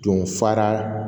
Don fara